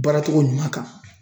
Baara togo ɲuman kan.